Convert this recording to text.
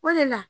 O de la